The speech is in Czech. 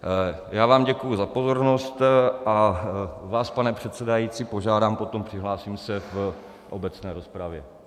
Já vám děkuji za pozornost a vás, pane předsedající, požádám potom, přihlásím se v obecné rozpravě.